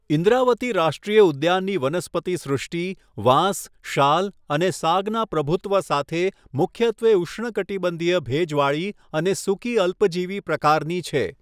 ઇન્દ્રાવતી રાષ્ટ્રીય ઉદ્યાનની વનસ્પતિ સૃષ્ટિ વાંસ, શાલ અને સાગના પ્રભુત્વ સાથે મુખ્યત્વે ઉષ્ણકટિબંધીય ભેજવાળી અને સૂકી અલ્પજીવી પ્રકારની છે